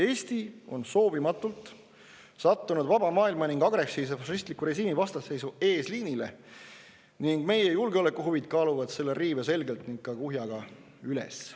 Eesti on soovimatult sattunud vaba maailma ning agressiivse fašistliku režiimi vastasseisu eesliinile ning meie julgeolekuhuvid kaaluvad selle riive selgelt ja kuhjaga üles.